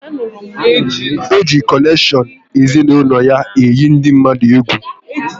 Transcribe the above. Ọ ji konekshion ezinaụlọ ya eyi ndị mmadụ egwu